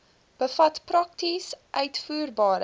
bevat prakties uitvoerbare